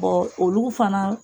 olugu fana